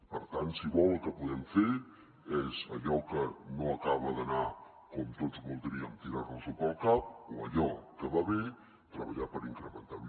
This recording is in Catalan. per tant si vol el que podem fer és allò que no acaba d’anar com tots voldríem tirar nos ho pel cap o allò que va bé treballar per incrementar ho